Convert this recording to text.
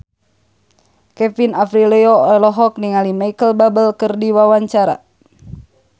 Kevin Aprilio olohok ningali Micheal Bubble keur diwawancara